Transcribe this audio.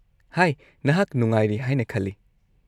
-ꯍꯥꯏ, ꯅꯍꯥꯛ ꯅꯍꯥꯛ ꯅꯨꯡꯉꯥꯢꯔꯤ ꯍꯥꯏꯅ ꯈꯜꯂꯤ꯫